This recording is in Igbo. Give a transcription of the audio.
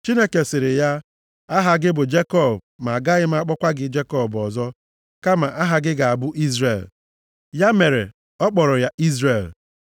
Chineke sịrị ya, “Aha gị bụ Jekọb ma a gaghị akpọkwa gị Jekọb ọzọ, kama aha gị ga-abụ Izrel.” Ya mere ọ kpọrọ ya Izrel.